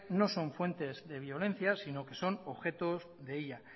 no son fuentes de violencia si no que son objeto de ella